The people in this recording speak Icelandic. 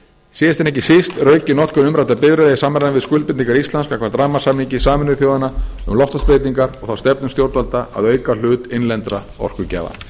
síðast en ekki síst er aukin notkun umræddra bifreiða í samræmi við skuldbindingar íslands gagnvart rammasamningi sameinuðu þjóðanna um loftslagsbreytingar og þá stefnu stjórnvalda að auka hlut innlendra orkugjafa frú